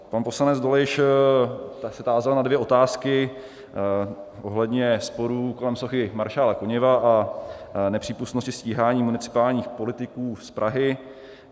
Pan poslanec Dolejš se tázal na dvě otázky ohledně sporů kolem sochy maršála Koněva a nepřípustnosti stíhání municipálních politiků z Prahy.